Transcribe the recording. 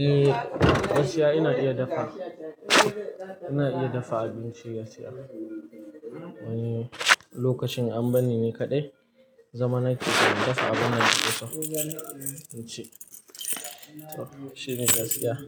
Eh, gaskiya ina iya dafa. Ina iya dafa abinci gaskiya. Wani lokacin an bani ni kaɗai zamanai kike mun dafa abin da kika so abinci. So, shine gaskiya.